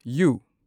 U